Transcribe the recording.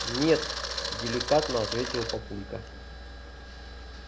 нет деликатно ответил папулька